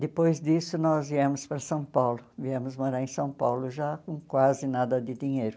Depois disso, nós viemos para São Paulo, viemos morar em São Paulo já com quase nada de dinheiro.